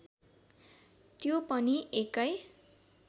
त्यो पनि एकै